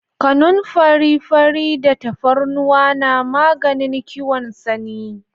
Kanunfari fari da tafarnuwa na maganin kiwon sanyi